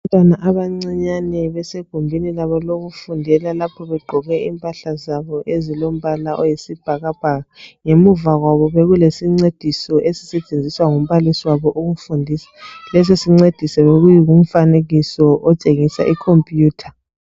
Abantwana abancinyane besegumbini labo lokufundela lapho begqoke impahla zabo ezilombala oyisibhakabhaka, ngemuva kwabo bekulesincediso esisetshenziswa ngumbalisi wabo ukufundisa lesi sincediso bekuyikumfanekiso otshengisa ikhompuyutha.